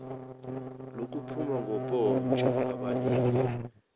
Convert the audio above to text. lokuphuma ngopotsho abaleke